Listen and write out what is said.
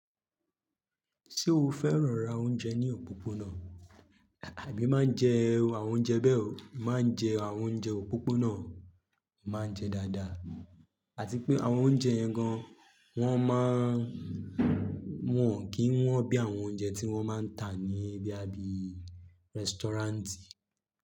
Ṣé o fẹ́ràn ra oúnjẹ ní òpópónà? Àbí máa ń jẹ àwọn oúnjẹ bẹ́ẹ̀ o, n máa ń jẹ àwọn oúnjẹ òpópónà ma ń jẹ dáadáa àti pé àwọn oúnjẹ yẹn gan wọ́n má ń, wọ́n kì ń wọ́n bí àwọn oúnjẹ tí wọ́n máa ń tà ní boya ibí i rẹ́sítọ́ráǹtì.